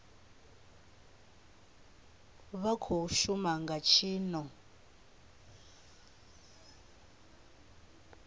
vha khou shuma nga tshino